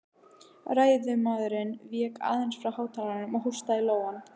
Ræðumaðurinn vék aðeins frá hátalaranum og hóstaði í lófann.